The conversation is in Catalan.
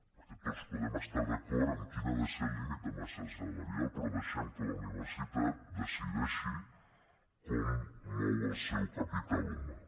perquè tots podem estar d’acord en quin ha de ser el límit de massa salarial però deixem que la universitat decideixi com mou el seu capital humà